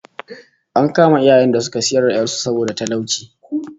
An kama iyayen da suka sayar da 'yar su saboda talauci